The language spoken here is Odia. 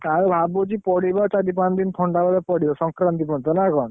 ଆଉ ଭାବୁଛି ପଡିବ ଚାରି ପାଞ୍ଚ ଦିନ ଥଣ୍ଡା ବୋଧେ ପଡିବ ସଂକ୍ରାନ୍ତି ପର୍ଯ୍ୟନ୍ତ ନା କଣ?